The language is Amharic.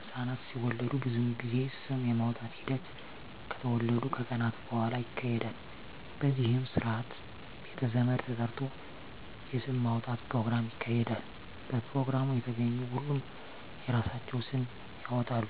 ህፃናት ሲወለዱ ብዙ ጊዜ ስም የማውጣት ሒደት ከተወለዱ ከቀናት በሁዋላ ይካሄዳል በዚህም ስርአት ቤተ ዘመድ ተጠርቶ የስም ማውጣት ኘሮግራም ይካሄዳል በፕሮግራሙ የተገኙ ሁሉም የራሳቸውን ስም ያወጣሉ